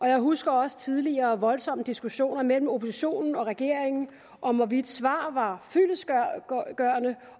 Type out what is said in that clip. jeg husker også tidligere voldsomme diskussioner mellem oppositionen og regeringen om hvorvidt svar var fyldestgørende